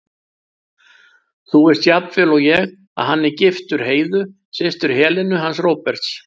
Þú veist jafnvel og ég að hann er giftur Heiðu, systur Helenu hans Róberts.